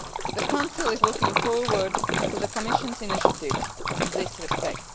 The Council is looking forward to the Commission's initiatives in this respect.